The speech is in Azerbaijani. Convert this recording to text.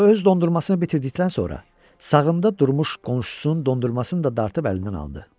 O öz dondurmasını bitirdikdən sonra, sağında durmuş qonşusunun dondurmasını da dartıb əlindən aldı.